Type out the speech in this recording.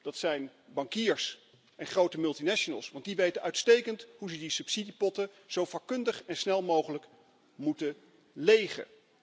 Het zijn de bankiers en grote multinationals, want die weten uitstekend hoe ze die subsidiepotten zo vakkundig en snel mogelijk moeten legen.